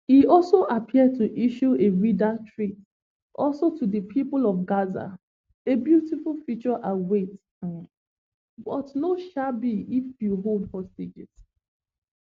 e also appear to issue a wider threat also to di pipo of gaza a beautiful future awaits um but no um be if you hold hostages